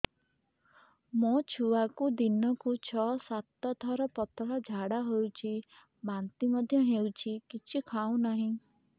ମୋ ଛୁଆକୁ ଦିନକୁ ଛ ସାତ ଥର ପତଳା ଝାଡ଼ା ହେଉଛି ବାନ୍ତି ମଧ୍ୟ ହେଉଛି କିଛି ଖାଉ ନାହିଁ